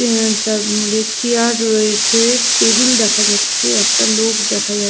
chair রয়েছে table দেখা যাচ্ছে একটা লোক দেখা যাচ--